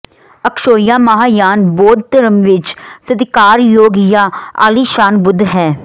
ਅਕਸ਼ੋਹਿਆ ਮਹਾਂਯਾਨ ਬੌਧ ਧਰਮ ਵਿਚ ਸਤਿਕਾਰਯੋਗ ਜਾਂ ਆਲੀਸ਼ਾਨ ਬੁੱਧ ਹੈ